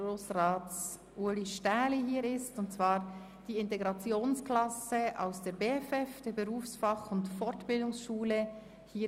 Es handelt sich um die Integrationsklasse der Berufs-, Fach- und Fortbildungsschule Bern (BFF) mit ihrer Lehrkraft Eva Lena Stricker.